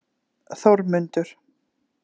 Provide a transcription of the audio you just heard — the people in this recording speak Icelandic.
Þórmundur